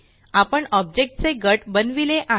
आपण ऑब्जेक्ट चे गट बनविले आहे